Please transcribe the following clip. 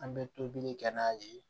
An bɛ tobili kɛ n'a ye